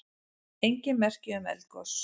Engin merki um eldgos